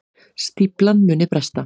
Stíflan muni bresta